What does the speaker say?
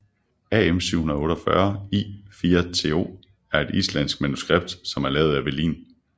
AM 748 I 4to er et islandsk manuskript som er lavet af velin